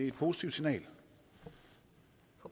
et positivt signal